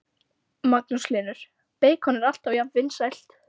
Magnús Hlynur: Beikon er alltaf jafnt vinsælt?